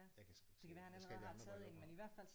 Jeg kan sgu ikke se det jeg skal have de andre briller på